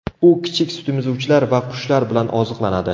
U kichik sutemizuvchilar va qushlar bilan oziqlanadi.